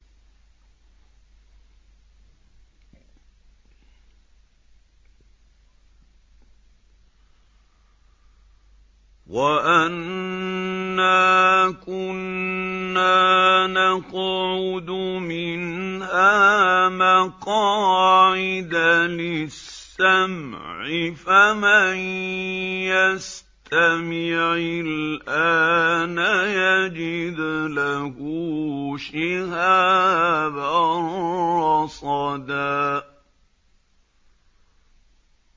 وَأَنَّا كُنَّا نَقْعُدُ مِنْهَا مَقَاعِدَ لِلسَّمْعِ ۖ فَمَن يَسْتَمِعِ الْآنَ يَجِدْ لَهُ شِهَابًا رَّصَدًا